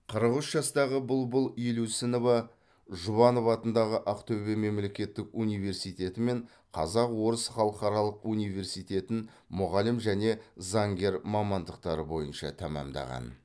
қырық үш жастағы бұлбұл елеусінова жұбанов атындағы ақтөбе мемлекеттік университеті мен қазақ орыс халықаралық университетін мұғалім және заңгер мамандықтары бойынша тәмамдаған